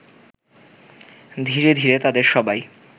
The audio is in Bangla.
ধীরে ধীরে তাদের সবাই